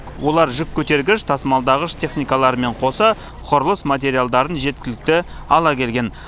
олар жүк көтергіш тасымалдағыш техникаларымен қоса құрылыс материалдарын жеткілікті ала келген